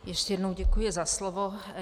Ještě jednou děkuji za slovo.